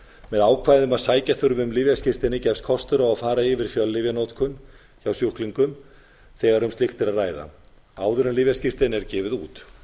með ákvæði um að sækja þurfi um lyfjaskírteini gefst kostur á að fara yfir fjöllyfjanotkun hjá sjúklingum þegar um slíkt er að ræða áður en lyfjaskírteini er gefið út